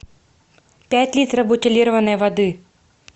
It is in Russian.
пять литров бутилированной воды